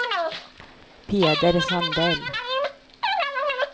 Peder Sandell